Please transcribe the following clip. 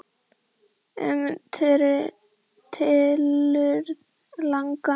Um tilurð laganna